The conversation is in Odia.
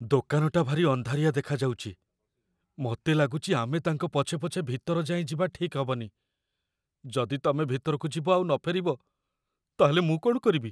ଦୋକାନଟା ଭାରି ଅନ୍ଧାରିଆ ଦେଖାଯାଉଚି । ମତେ ଲାଗୁଚି ଆମେ ତାଙ୍କ ପଛେ ପଛେ ଭିତର ଯାଏଁ ଯିବା ଠିକ୍ ହବନି । ଯଦି ତମେ ଭିତରକୁ ଯିବ ଆଉ ନଫେରିବ ତା'ହେଲେ, ମୁଁ କ'ଣ କରିବି?